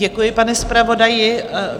Děkuji, pane zpravodaji.